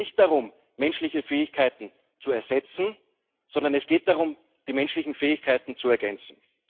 Es geht nicht darum, menschliche Fähigkeiten zu ersetzen, sondern es geht darum, die menschlichen Fähigkeiten zu ergänzen.